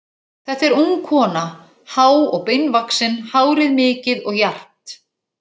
Þetta er ung kona, há og beinvaxin, hárið mikið og jarpt.